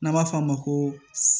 N'an b'a f'a ma ko